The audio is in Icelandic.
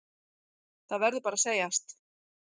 Það verður bara að segjast.